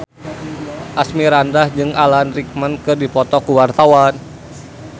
Asmirandah jeung Alan Rickman keur dipoto ku wartawan